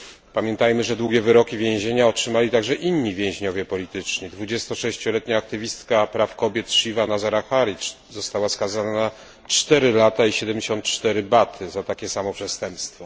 Pamiętajmy, że długie wyroki więzienia otrzymali także inni więźniowie polityczni 26 letnia aktywistka praw kobiet, Shiva Nazar Ahari została skazana na 4 lata i 74 baty za takie samo przestępstwo.